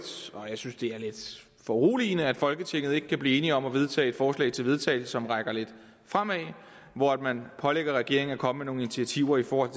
og jeg synes det er lidt foruroligende at folketinget ikke kan blive enige om at vedtage et forslag til vedtagelse som peger lidt fremad og hvor man pålægger regeringen at komme med nogle initiativer i forhold